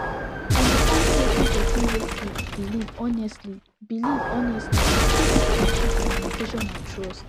understanding wetin person wey sik biliv honestly biliv honestly fit hep improve communication and trust